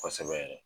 Kosɛbɛ yɛrɛ